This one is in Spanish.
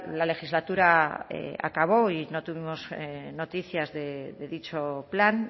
la legislatura acabó y no tuvimos en noticias de dicho plan